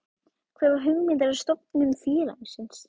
Hver var hugmyndin að stofnun félagsins?